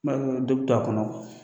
N dɔ bɛ to a kɔnɔ